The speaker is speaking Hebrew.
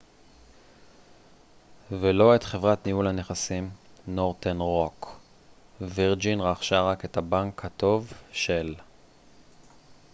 וירג'ין רכשה רק את הבנק הטוב של northern rock ולא את חברת ניהול הנכסים